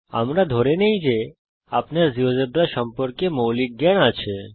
আমরা ধরে নেই যে আপনার জীয়োজেব্রা সম্পর্কে মৌলিক জ্ঞান আছে